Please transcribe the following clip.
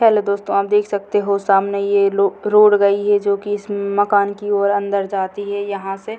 hello दोस्तों आप देख सकते हो सामने यह रो रोड गई है जो कि इस मकान की और अंदर जाती है यहाँ से --